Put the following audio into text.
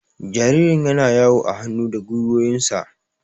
Jaririn yana yawo a hannu da gwiwoyinsa.